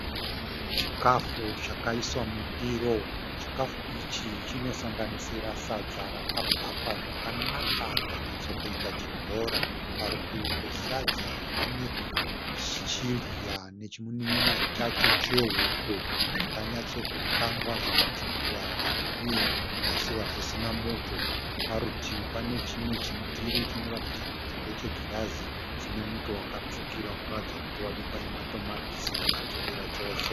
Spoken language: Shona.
Chikafu chakaiswa mundiro. Chikafu ichi chinosanganisira sadza raka bhakwa zvakanaka rikanyatso kuita chibhora. Parutivi pesadza iri pane chidya nechimunin'ina chacho chehuku zvakanyatso kukangwa zvikatsvukira hazvo uye zvikasiiwa zvisina muto. Parutivi pane chimwe chindiro chinoratidza kuti ndechegirazi chine muto wakatsvukira unoratidza kuti wakabikwa nematomatisi akatsvukira chose.